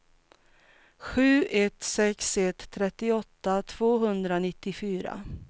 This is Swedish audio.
sju ett sex ett trettioåtta tvåhundranittiofyra